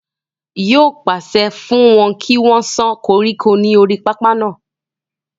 yóò pàṣẹ fún wọn kí wọ́n sán koríko ní orí pápá náà